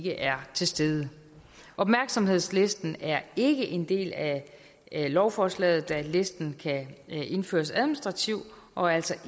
er til stede opmærksomhedslisten er ikke en del af lovforslaget da listen kan indføres administrativt og altså